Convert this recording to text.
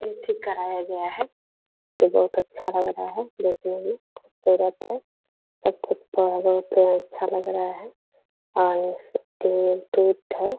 इ भी ठीक कराया गया है फोटो बहोत अच्छा लग रहा है देखने में खूबसूरत है और हैं।